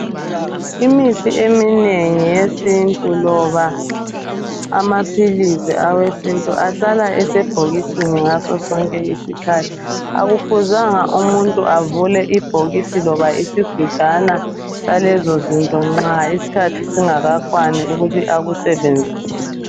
imithi eminengi yesintu loba amaphilisi awesintu ahlala esebhokisini ngaso sonke isikhathi akufuzanga umuntu avule ibhokisi loba isigujana lezo zinto nxa isikhathi singakwani ukuthi akusebenzise